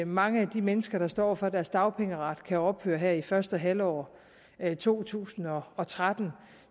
mange af de mennesker der står over for at deres dagpengeret kan ophøre her i første halvår af to tusind og og tretten